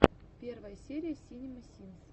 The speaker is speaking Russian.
первая серия синема синс